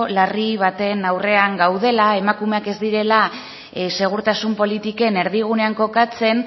larri baten aurrean gaudela emakumeak ez direla segurtasun politiken erdigunean kokatzen